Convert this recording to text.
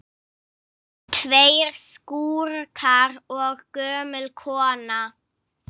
Tveir skúrkar og gömul kona